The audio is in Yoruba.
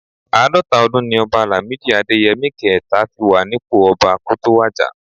Àádọ́ta ọdún ni ọba Làmídì Adéyẹmi kẹẹ̀ta fi wà nípò ọba kó tó wàjà